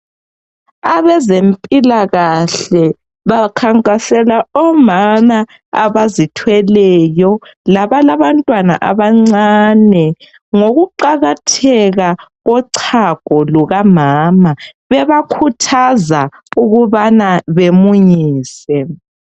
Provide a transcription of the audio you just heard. Abezempilakahle bakhankasela omama abazithweleyo abalabantwana abancane ngokuqakatheka kochago lukamama bebakhuthaza ukubana bemunyise.